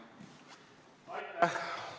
Aitäh!